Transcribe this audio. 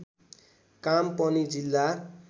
काम पनि जिल्ला